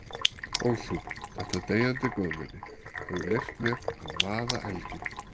Og þú, þetta deyjandi góðmenni, hefur leyft mér að vaða elginn.